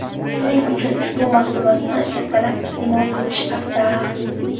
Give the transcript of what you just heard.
Shuning uchun ushbu mahsulotni ertalab iste’mol qilish afzal.